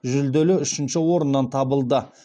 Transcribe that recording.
жүлделі үшінші орыннан табылды